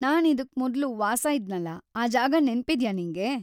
ನಾನ್ ಇದುಕ್ ಮೊದ್ಲು ವಾಸ‌ ಇದ್ನಲ್ಲ, ಆ ಜಾಗ ನೆನ್ಪಿದ್ಯಾ‌ ನಿಂಗೆ?